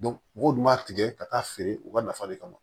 mɔgɔw dun b'a tigɛ ka taa feere u ka nafa le kama